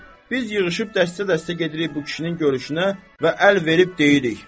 Biz yığışıb dəstə-dəstə gedirik bu kişinin görüşünə və əl verib deyirik.